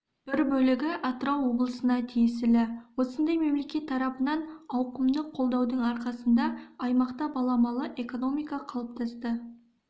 бір бөлігі атырау облысына тиесілі осындай мемлекет тарапынан ауқымды қолдаудың арқасында аймақта баламалы экономика қалыптасты